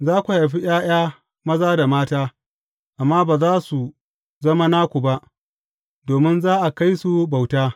Za ku haifi ’ya’ya maza da mata, amma za su zama naku ba, domin za a kai su bauta.